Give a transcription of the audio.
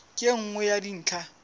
ke e nngwe ya dintlha